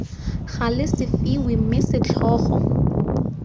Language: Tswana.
gale se fiwe mme setlhogo